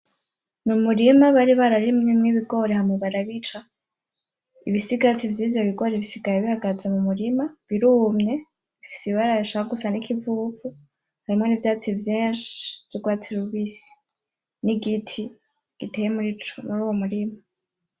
Ni umurima bari barimyemwo ibigori hama barabica , ibisigati vy'ivyo bigori bisigaye bihagaze mumurima, birumye bifise ibara rishaka gusa n'ikivuvu , harimwo n'ivyatsi vyinshi vy'urwatsi rubisi , n'igiti giteye muri uwo murima.